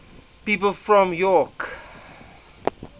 people from york